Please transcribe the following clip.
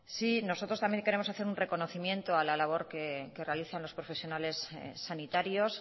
sí nosotros también queremos hacer un reconocimiento a la labor que realiza los profesionales sanitarios